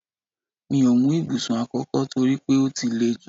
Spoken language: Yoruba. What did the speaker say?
Mi ò mú ibùsùn àkókò toripe ó ti lè jú